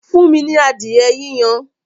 Fún mi ní adìẹ yíyan!